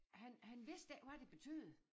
Han han vidste ikke hvad det betød